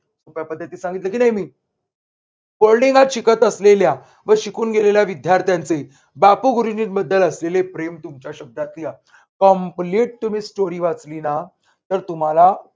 सोप्या पद्धतीत सांगितले की नाही मी boarding गात शिकत असलेल्या व शिकून गेलेल्या विद्यार्थ्यांचे बापूंगुरुजींबद्दल असलेले प्रेम तुमच्या शब्दात लिहा. complete तुम्ही स्टोरी वाचली ना तर तुम्हाला